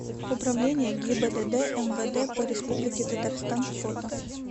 управление гибдд мвд по республике татарстан фото